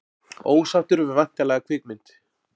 Ósáttur við væntanlega kvikmynd